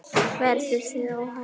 Verður þér óhætt að kafa?